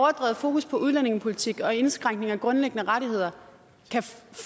fokus på udlændingepolitik og indskrænkning af grundlæggende rettigheder